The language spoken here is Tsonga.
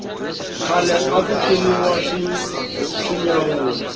khale aku ciniwa swinyawula